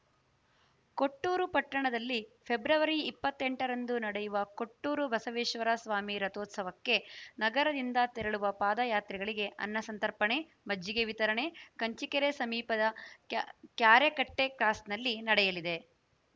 ಕೊಟ್ಟೂರು ಪಟ್ಟಣದಲ್ಲಿ ಫೆಬ್ರವರಿ ಇಪ್ಪತ್ತ್ ಎಂಟರಂದು ನಡೆಯುವ ಕೊಟ್ಟೂರು ಬಸವೇಶ್ವರ ಸ್ವಾಮಿ ರಥೋತ್ಸವಕ್ಕೆ ನಗರದಿಂದ ತೆರಳುವ ಪಾದಯಾತ್ರಿಗಳಿಗೆ ಅನ್ನ ಸಂತರ್ಪಣೆ ಮಜ್ಜಿಗೆ ವಿತರಣೆ ಕಂಚಿಕೆರೆ ಸಮೀಪದ ಕ್ಯಾ ಕ್ಯಾರೆಕಟ್ಟೆಕ್ರಾಸ್‌ನಲ್ಲಿ ನಡೆಯಲಿದೆ